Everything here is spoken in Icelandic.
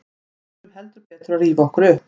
Við þurfum heldur betur að rífa okkur upp.